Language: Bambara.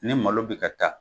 Ne malo bɛ ka taa.